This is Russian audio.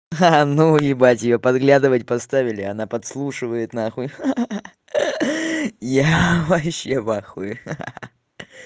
а ну ебать её подглядывать поставили она подслушивает нахуй я вообще в ахуе